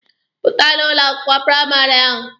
Pụta n'ụlọ akwụkwọ praịmarị ahụ!